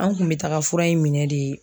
An kun bɛ taga fura in minɛ de.